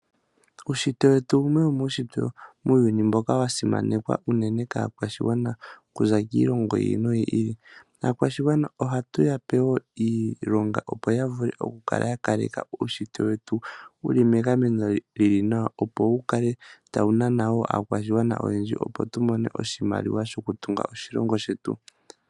Uushitwe wetu owo wumwe wimushitwe muuyuni wa simanekwa, uunene kaakwashigwana okuza kiilongo yiili no yili. Aakwashigwana ohaya pewa wo iilonga opo ya vule oku kaleka uushitwe wetu wuli megameno lili nawa, wo wukale tawu nana wo aakwashigwana oyendji, opo tu mone oshimaliwa shoku tunga oshilongo shetu.